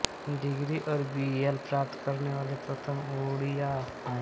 degree और B L प्राप्त करने वाले प्रथम ओड़िआ हैं